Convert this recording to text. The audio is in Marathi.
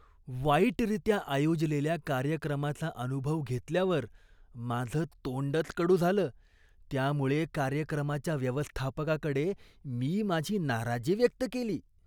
वाईटरीत्या आयोजलेल्या कार्यक्रमाचा अनुभव घेतल्यावर माझं तोंडच कडू झालं, त्यामुळे कार्यक्रमाच्या व्यवस्थापकाकडे मी माझी नाराजी व्यक्त केली.